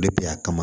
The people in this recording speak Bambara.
De bɛ yan